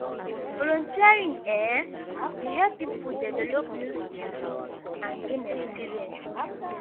volunteering um dey help people develop new skills and gain experience.